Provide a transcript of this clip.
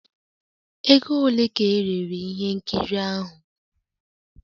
Ego ole ka erere ihe nkiri ahụ?